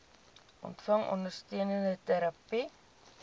ontvang ondersteunende terapie